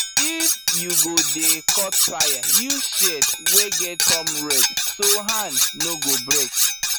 if you go dey cut taya use shears wey get thumb rest so hand no go break